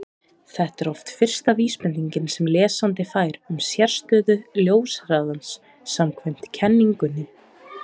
Þetta er oft fyrsta vísbendingin sem lesandi fær um sérstöðu ljóshraðans samkvæmt kenningunni.